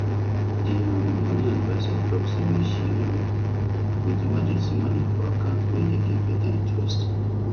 the um money adviser talk say make she um put emergency money for account wey dey give better interest